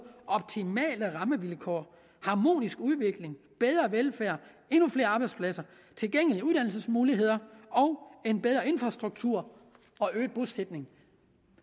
optimale rammevilkår harmonisk udvikling bedre velfærd endnu flere arbejdspladser tilgængelige uddannelsesmuligheder bedre infrastruktur og øget bosætning